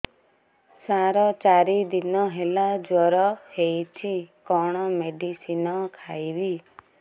ସାର ଚାରି ଦିନ ହେଲା ଜ୍ଵର ହେଇଚି କଣ ମେଡିସିନ ଖାଇବି